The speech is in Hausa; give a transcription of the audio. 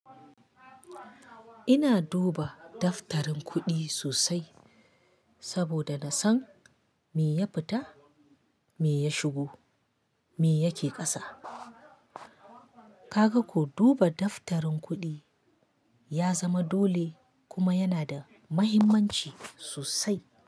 Ina duba daftarin kuɗi sosai saboda na san me ya fita, me ya shigo, me yake ƙasa. Ka ga ko duba daftarin kuɗi ya zama dole kuma yana da muhimmanci sosai.